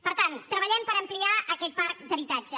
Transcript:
per tant treballem per ampliar aquest parc d’habitatge